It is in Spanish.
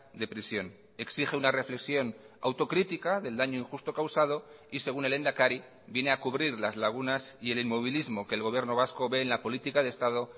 de prisión exige una reflexión autocrítica del daño injusto causado y según el lehendakari viene a cubrir las lagunas y el inmovilismo que el gobierno vasco ve en la política de estado